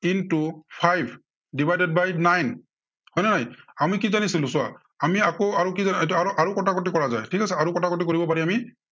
into five divided by nine হয় নে নাই। আমি কি জানিছিলো চোৱা, আমি আকৌ আৰু কি জানো এইটো আৰু কটাকটি কৰা যায়, ঠিক আছে আৰু কটাকটি কৰিব পাৰি আমি।